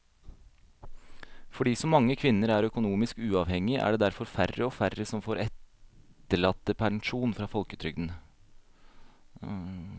Fordi så mange kvinner er økonomisk uavhengige er det derfor færre og færre som får etterlattepensjon fra folketrygden.